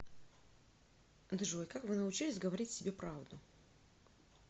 джой как вы научились говорить себе правду